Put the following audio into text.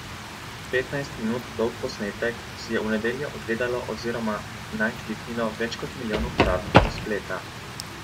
Petnajst minut dolg posnetek si je v nedeljo ogledalo oziroma nanj kliknilo več kot milijon uporabnikov spleta.